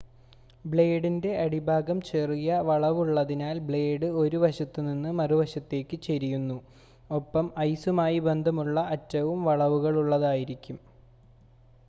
ബ്ലേഡിൻ്റെ അടിഭാഗം ചെറിയ വളവുള്ളതിനാൽ ബ്ലേഡ് 1 വശത്തുനിന്ന് മറുവശത്തേയ്ക്ക് ചെരിയുന്നു ഒപ്പം ഐസുമായി ബന്ധമുള്ള അറ്റവും വളവുകളുള്ളതായിരിക്കും